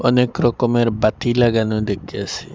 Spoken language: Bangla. অনেকরকমের বাতি লাগানো দেক্কাসি ।